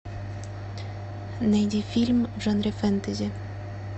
найди фильм в жанре фэнтези